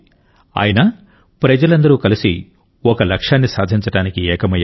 అయినా ప్రజలందరూ కలిసి ఒక లక్ష్యాన్ని సాధించడానికి ఏకమయ్యారు